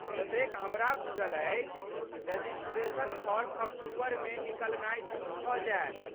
जतेक हमरा बुझल अछि, रजिस्ट्रेशन फॉर्म अक्टूबरमे निकलनाय शुरू भऽ जायत।